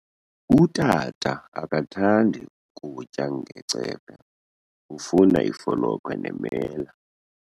Utata akathandi kutya ngecephe, ufuna ifolokhwe nemela.